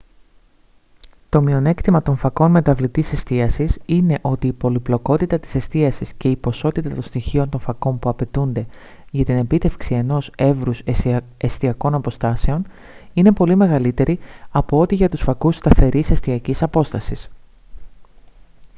το μειονέκτημα των φακών μεταβλητής εστίασης είναι ότι η πολυπλοκότητα της εστίασης και η ποσότητα των στοιχείων των φακών που απαιτούνται για την επίτευξη ενός εύρους εστιακών αποστάσεων είναι πολύ μεγαλύτερη από ό,τι για τους φακούς σταθερής εστιακής απόστασης